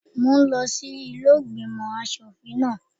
Mo ń lọ sí ilé ìgbìmò aṣòfin náà.